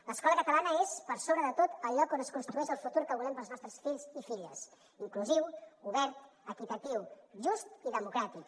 l’escola catalana és per sobre de tot el lloc on es construeix el futur que volem per als nostres fills i filles inclusiu obert equitatiu just i democràtic